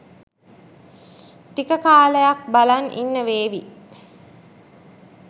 ටික කාලයක් බලන් ඉන්න වේවි.